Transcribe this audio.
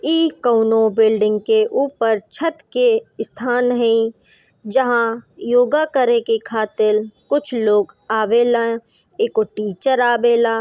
ई कोनों बिल्डिंग के ऊपर छत के स्थान है जहां योगा करेके खातिर कुछ लोग आवेला एको टीचर आवेला।